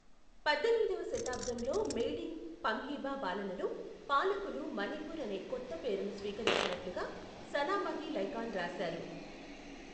పద్దెనిమిదవ శతాబ్దంలో మెయిడింగు పమ్హీబా పాలనలో పాలకులు మణిపూర్ అనే కొత్త పేరును స్వీకరించినట్లుగా సనామహి లైకాన్ రాశారు.